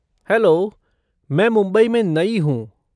Hello, मैं मुंबई में नई हूँ।